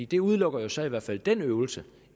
det udelukker jo så i hvert fald den øvelse